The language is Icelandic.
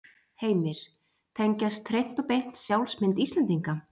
Heimir: Tengjast hreint og beint sjálfsmynd Íslendinga?